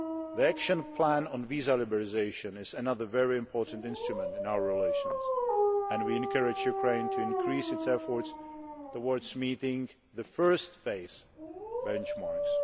The Action Plan on Visa Liberalisation is another very important instrument in our relations, and we encourage Ukraine to increase its efforts towards meeting the first phase benchmarks.